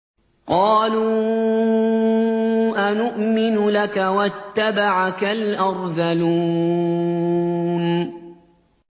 ۞ قَالُوا أَنُؤْمِنُ لَكَ وَاتَّبَعَكَ الْأَرْذَلُونَ